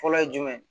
Fɔlɔ ye jumɛn ye